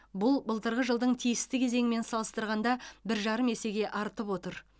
бұл былтырғы жылдың тиісті кезеңімен салыстырғанда бір жарым есеге артып отыр